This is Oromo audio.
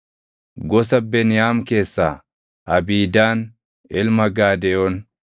gosa Beniyaam keessaa Abiidaan ilma Gaadeyoon,